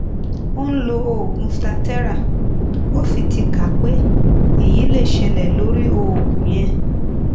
o n lo oogun staterra ó sì ti kà pé eyi lè ṣẹlẹ lórí oògùn yẹn